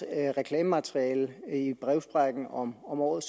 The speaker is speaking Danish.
reklamemateriale i brevsprækken om om året